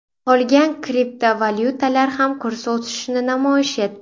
Qolgan kriptovalyutalar ham kurs o‘sishini namoyish etdi.